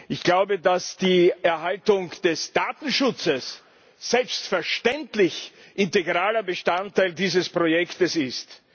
Ich glaube, dass die Erhaltung des Datenschutzes selbstverständlich integraler Bestandteil dieses Projekts ist.